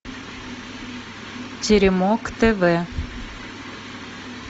теремок тв